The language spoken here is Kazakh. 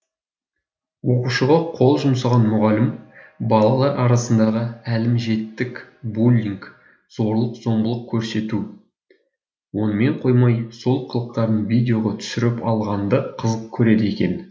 оқушыға қол жұмсаған мұғалім балалар арасындағы әлімжеттік буллинг зорлық зомбылық көрсету онымен қоймай сол қылықтарын видеоға түсіріп алғанды қызық көреді екен